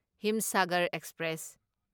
Himsagar express